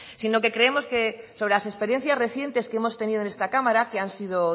sino que creemos que sobre las experiencias recientes que hemos tenido en esta cámara que han sido